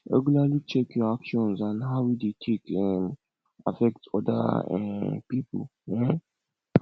regularly check your actions and how e dey take um affect oda um pipo um